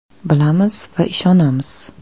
Bilamiz va ishonamiz.